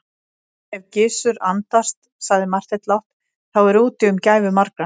Ef Gizur andast, sagði Marteinn lágt,-þá er úti um gæfu margra.